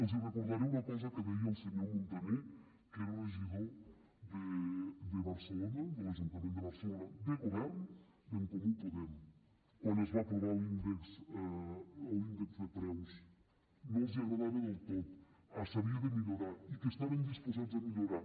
els recordaré una cosa que deia el senyor montaner que era regidor de barcelona de l’ajuntament de barcelona de govern d’en comú podem quan es va aprovar l’índex de preus no els agradava del tot s’havia de millorar i que estaven disposats a millorar